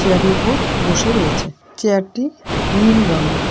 উপর বসে রয়েছে চেয়ারটি নীল রঙের।